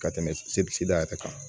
Ka tɛmɛ sebeda yɛrɛ kan